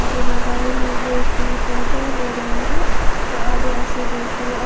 आधे मोबाइल लेके फोटो ले रहे हैं और आधे ऐसे देख री आ --